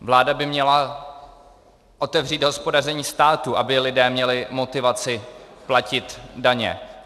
Vláda by měla otevřít hospodaření státu, aby lidé měli motivaci platit daně.